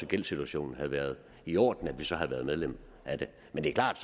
gældssituationen havde været i orden så havde vi været medlem af det men det er klart